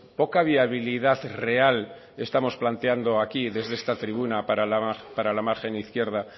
poca viabilidad real estamos planteando aquí desde esta tribuna para la margen izquierda